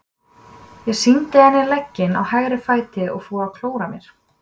Ég sýndi henni legginn á hægra fæti og fór að klóra mér.